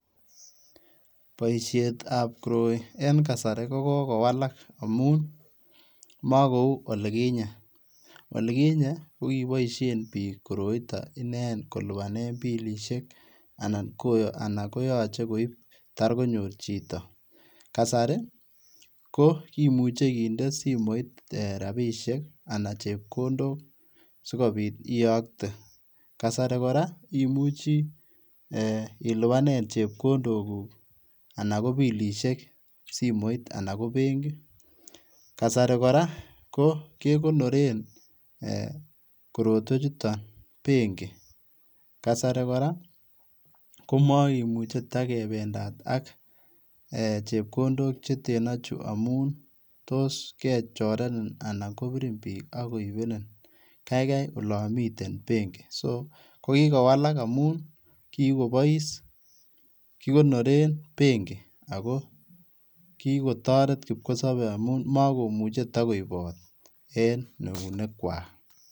Boishet ab koroi en kasari koko kowalak amun mo kou olikinye, olikinye ko koboishen bik koroiton ineken kolipanen bilishek anan koyoche koib takonyor chito, kasari ko kimuche kinde simoit rabishek anan chepkondok sikobit iyokte, kasari koraa ko imuche ilipanen chepkondok kuuk anan ko bilishek simoit anan ko benki kasari koraa ko kekonoren korotwek chuton benki kasara koraa ko mokimuche takependat ak chepkondok cheteno chuu amun tos kechorenin anan kobirin bik ak koibenin kaikai olon miten benki so kikowala amun kikobois kikonoren benki ako kikotoret kipkosobe mokomuche tokoibot en eunek kwak.